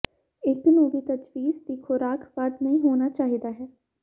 ਇੱਕ ਨੂੰ ਵੀ ਤਜਵੀਜ਼ ਦੀ ਖੁਰਾਕ ਵੱਧ ਨਹੀ ਹੋਣਾ ਚਾਹੀਦਾ ਹੈ